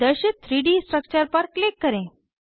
प्रदर्शित 3डी स्ट्रक्चर पर क्लिक करें